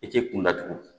I k'i kun datugu